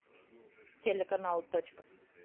телеканал точка